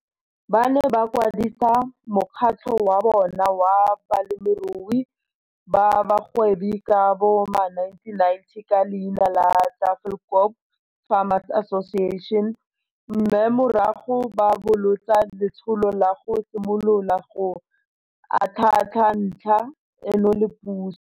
Ba ne ba kwadisa mokgatlho wa bona wa balemirui ba bagwebi ka bo ma1990 ka leina la Tafelkop Farmers Association mme morago ba bolotsa letsholo la go simolola go atlhaatlha ntlha eno le puso.